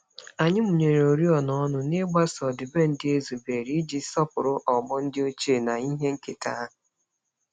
Anyị mụnyere oriọna ọnụ, n'igbaso ọdịbendị e zubere iji sọpụrụ ọgbọ ndị ochie na ihe nketa ha.